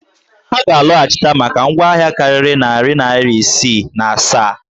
Ha ga-alọhachịta maka ngwa ahịa karịrị narị naịra isii na asaa?